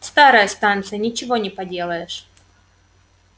старая станция ничего не поделаешь